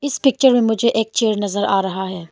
इस पिक्चर मुझे एक चेयर नजर आ रहा है।